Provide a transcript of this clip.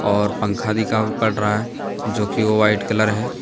और पंखा दिखाई पड़ रहा है जो कि वो व्हाइट कलर है।